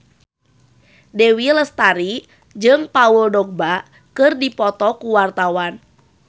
Dewi Lestari jeung Paul Dogba keur dipoto ku wartawan